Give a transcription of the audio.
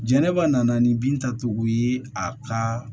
Jɛnɛba nana ni bin tacogo ye a ka